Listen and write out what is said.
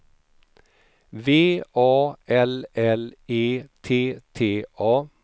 V A L L E T T A